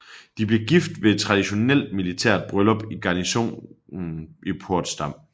De blev gift ved et traditionelt militært bryllup i garnisonen i Portsdam